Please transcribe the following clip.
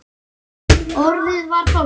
Orðið varð hold.